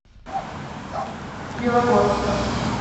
белогорска